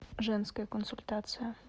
женская консультация